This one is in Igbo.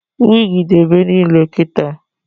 Wigi dị ebe niile kịta